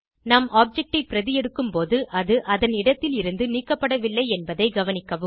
நாம் ஆப்ஜெக்ட் ஐ பிரதி எடுக்கும்போது அது அதன் இடத்திலிருந்து நீக்கப்படவில்லை என்பதை கவனிக்கவும்